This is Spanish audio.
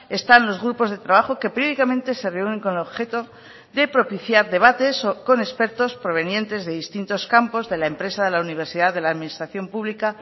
están los grupos de trabajo que periódicamente se reúnen con el objeto de propiciar debates con expertos provenientes de distintos campos de la empresa de la universidad de la administración pública